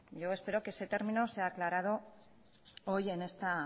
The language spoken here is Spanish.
yo espero que ese término sea aclarado hoy en esta